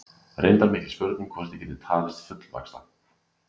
Reyndar mikil spurning hvort ég gæti talist fullvaxta.